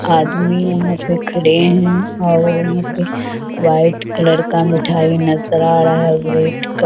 आदमी उहाँ पे खड़े हैं और उहाँ पे वाइट कलर का मिठाई नजर आ रहा है रेड का --